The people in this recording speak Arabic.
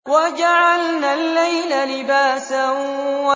وَجَعَلْنَا اللَّيْلَ لِبَاسًا